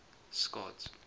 scott